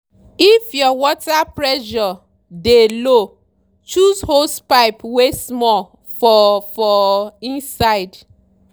if your water pressure dey low choose hosepipe wey small for for inside.